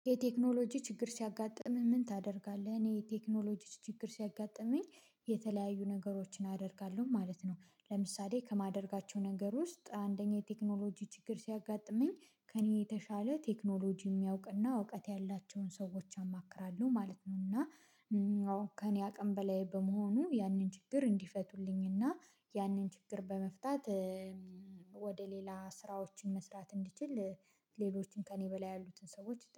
የቴክኖሎጂ ችግር ሲያጋጥምህ ምን ታደርጋለህ? እኔ የቴክኖሎጂ ችግር ሲያጋጥመኝ የተለያዩ ነገሮችን አደርጋለሁ ማለት ነው። ለምሳሌ ከማደርጋቸው ነገር ውስጥ አንደኛ የቴክኖሎጂ ችግር ሲያጋጥመኝ ከእኔ የተሻለ ቴክኖሎጂ የሚያውቅና እውቀት ያላቸውን ሰዎች አማክራለሁ ማለት ነው። እና ከእኔ አቅም በላይ በመሆኑ ያንን ችግር እንዲፈቱልኝና ያንን ችግር በመፍታት። ሌላ ስራዎችን መስራት እንድችል ሌሎችን ከእኔ በላይ ያሉትን ሰዎች